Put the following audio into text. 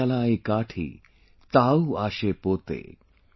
ShalaiKathi, Tau aasepote ||